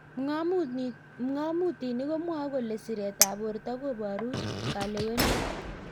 Png'amutik komwae kole siret ab borto koburu kalewenet.